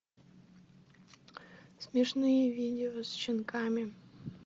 смешные видео с щенками